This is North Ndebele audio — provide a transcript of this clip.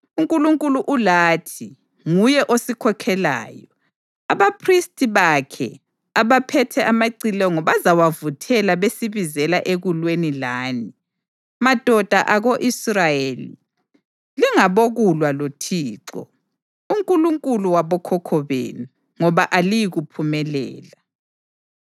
UNkulunkulu ulathi, nguye osikhokhelayo. Abaphristi bakhe abaphethe amacilongo bazawavuthela besibizela ekulweni lani. Madoda ako-Israyeli, lingabokulwa loThixo, uNkulunkulu wabokhokho benu, ngoba aliyikuphumelela.”